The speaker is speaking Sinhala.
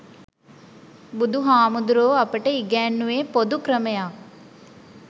බුදුහාමුදුරුවෝ අපට ඉගැන්නුවෙ පොදු ක්‍රමයක්.